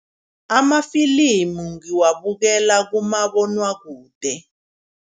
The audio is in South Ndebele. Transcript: Amafilimu ngiwabukela kumabonwakude.